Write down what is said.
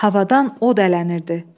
Havadan od ələnirdi.